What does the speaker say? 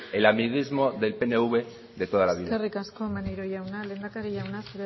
el amiguismo del pnv de toda la vida eskerrik asko maneiro jauna lehendakari jauna